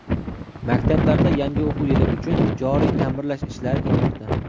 Maktablarda yangi o‘quv yili uchun joriy taʼmirlash ishlari ketmoqda.